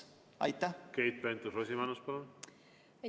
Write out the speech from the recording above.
Keit Pentus-Rosimannus, palun!